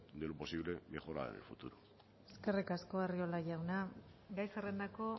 de lo posible mejorar en el futuro eskerrik asko arriola jauna gai zerrendako